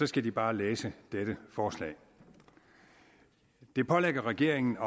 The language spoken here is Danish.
skal de bare læse dette forslag det pålægger regeringen